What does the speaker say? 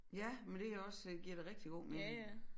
Ja men det jo også øh giver da rigtig god menig